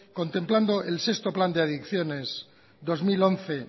contemplando el sexto plan de adicciones dos mil once